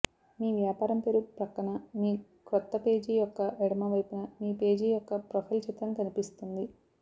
మీ వ్యాపారం పేరు ప్రక్కన మీ క్రొత్త పేజీ యొక్క ఎడమవైపున మీ పేజీ యొక్క ప్రొఫైల్ చిత్రం కనిపిస్తుంది